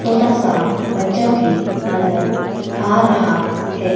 छोटा सा बच्चा भी नजर आ रहा है।